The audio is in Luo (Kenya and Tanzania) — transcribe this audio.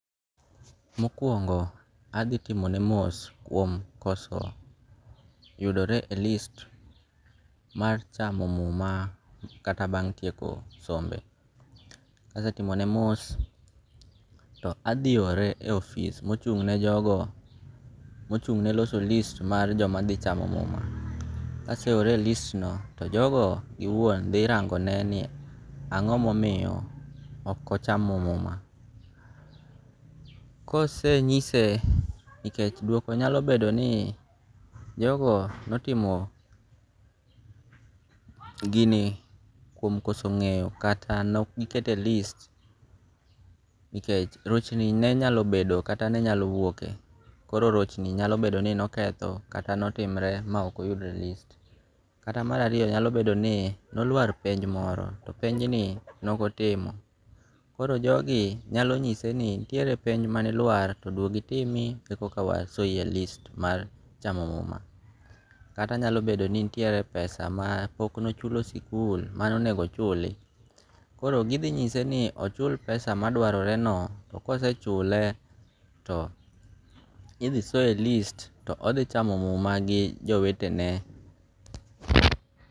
Mokuongo' athi timone mos kuom koso yudore e list mar chamo muma kata bang' tieko sombe, kasetimone mos to athi ore e office mochung'ne jogo mochung'ne loso list mar joma thi chamo muma, kaseore e listno to jogo giwuon thi rangone ni ango' momiyi okochamo muma, kosenyise nikech duoko nyalo bedo ni jogo notimo gini kuom koso nge'yo kata nok gikete e list nikech rochni ne nyalo bedo kata nenyalo wuoke, koro rochni nyalo bedo ni noketho kata notimre ma okoyudre e list, kata marariyo nyalo bedo ni nolwar penj moro to penj ni nokotimo koro jogi nyalo nyise ni nitiere penj manilwar to dwodi timni ekawasoi e list mar chamo muma kata nyalo bedo ni nitiere pesa ma pokne ochulo sikul mane onego ochuli koro githinyise ni ochul pesa ma dwaroreno to kosechule to ithisoye e list to othi chamo muma gi jowetene.